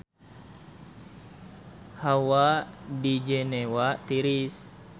Hawa di Jenewa tiris